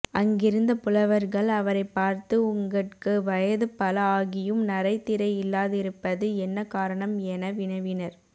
அங்கிருந்த புலவர்கள் அவரைப் பார்த்து உங்கட்கு வயது பல ஆகியும் நரை திரை இல்லாதிருப்பது என்ன காரணம் என் வினவினர்